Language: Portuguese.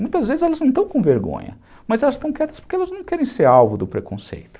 Muitas vezes elas não estão com vergonha, mas elas estão quietas porque elas não querem ser alvo do preconceito.